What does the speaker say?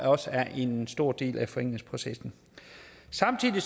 også er en stor del af forenklingsprocessen samtidig